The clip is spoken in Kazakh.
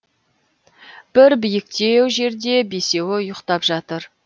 бір биіктеу жерде бесеуі ұйықтап жатыр